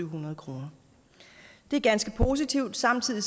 hundrede kroner det er ganske positivt samtidig